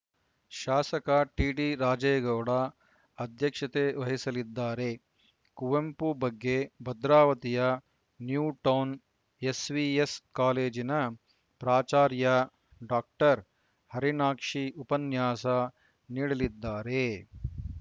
ಶಾಸಕ ಟಿಡಿರಾಜೇಗೌಡ ಅಧ್ಯಕ್ಷತೆ ವಹಿಸಲಿದ್ದಾರೆ ಕುವೆಂಪು ಬಗ್ಗೆ ಭದ್ರಾವತಿಯ ನ್ಯೂಟೌನ್‌ ಎಸ್‌ವಿಎಸ್‌ ಕಾಲೇಜಿನ ಪ್ರಾಚಾರ್ಯ ಡಾಕ್ಟರ್ ಹರಿಣಾಕ್ಷಿ ಉಪನ್ಯಾಸ ನೀಡಲಿದ್ದಾರೆ